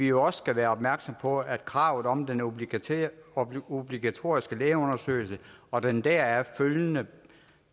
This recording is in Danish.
jo også være opmærksomme på at kravet om den obligatoriske obligatoriske lægeundersøgelse og den deraf følgende